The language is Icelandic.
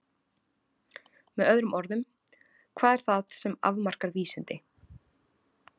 Með öðrum orðum: hvað er það sem afmarkar vísindi?